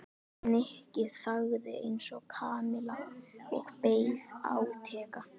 Nikki þagði eins og Kamilla og beið átekta.